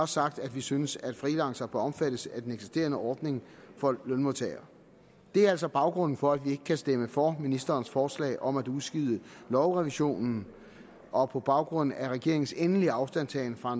sagt at vi synes at freelancere bør omfattes af den eksisterende ordning for lønmodtagere det er altså baggrunden for at vi ikke kan stemme for ministerens forslag om at udskyde lovrevisionen og på baggrund af regeringens endelige afstandtagen fra